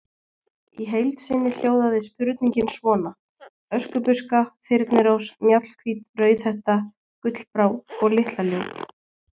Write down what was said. Í heild sinni hljóðaði spurningin svona: Öskubuska, Þyrnirós, Mjallhvít, Rauðhetta, Gullbrá- og Litla-Ljót.